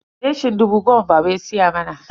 leshin dubu goma baba ya siya mana.